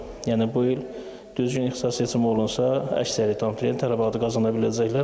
Yəni bu il düzgün ixtisas seçimi olunsa, əksəriyyət abituriyent araba ala biləcəklər.